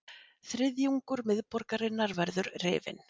Þriðjungur miðborgarinnar verður rifinn